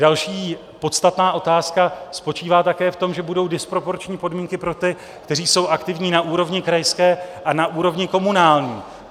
Další podstatná otázka spočívá také v tom, že budou disproporční podmínky pro ty, kteří jsou aktivní na úrovni krajské a na úrovni komunální.